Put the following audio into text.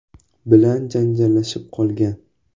bilan janjallashib qolgan.